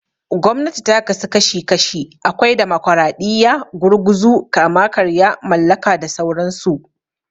Gwamnati ta ka su kashi kashi, akwai Damokaraɗiya, Gurguzu, Kama-karya, Mallaka da sauran su.